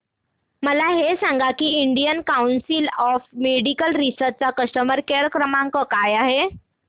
मला हे सांग की Indian council of medical research चा कस्टमर केअर क्रमांक काय आहे